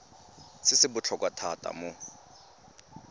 se se botlhokwa thata mo